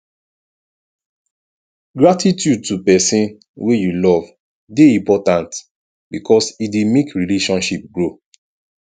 gratitude to persin wey you love de important because e de make relationship grow